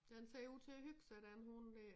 Den ser ud til at hygge sig den hund dér